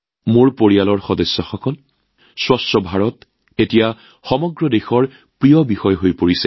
মোৰ পৰিয়ালৰ সদস্য স্বচ্ছ ভাৰত এতিয়া সমগ্ৰ দেশৰ প্ৰিয় বিষয় হৈ পৰিছে